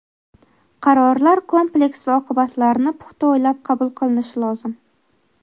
Qarorlar kompleks va oqibatlarini puxta o‘ylab qabul qilinishi lozim.